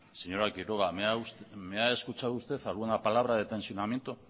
señora quiroga me ha escuchado usted alguna palabra de tensionamiento